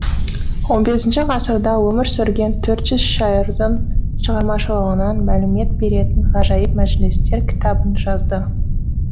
он бесінші ғасырда өмір сүрген төрт жүз шайырдың шығармашылығынан мәлімет беретін ғажайып мәжілістер кітабын жазды